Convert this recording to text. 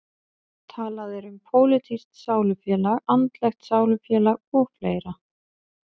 Talað er um pólitískt sálufélag, andlegt sálufélag og fleira.